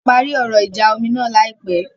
Wọ́n máa parí ọ̀rọ̀ ìjà omi náà láìpẹ̀.